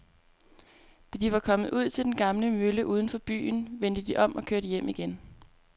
Da de var kommet ud til den gamle mølle uden for byen, vendte de om og kørte hjem igen.